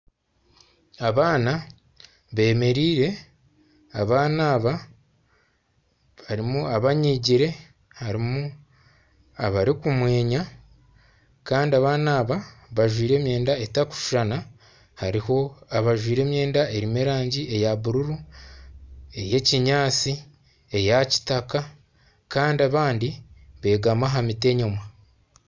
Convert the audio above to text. Abaana bemereire, abaana aba harimu abanyiigire, harimu abarikumwenya kandi abaana aba bajwaire emyenda etarikushushana. Hariho abajwaire emyenda erimu erangi eya bururu, ey'eyekinyaatsi, eya kitaka, kandi abandi beegami aha miti enyima.